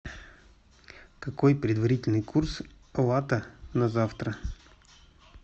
какой предварительный курс лата на завтра